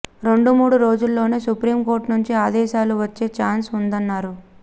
రెండు మూడు రోజుల్లోనే సుప్రీంకోర్టు నుంచి అదేశాలు వచ్చే ఛాన్స్ ఉందన్నారు